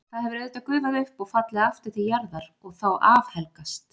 Það hefur auðvitað gufað upp og fallið aftur til jarðar og þá afhelgast.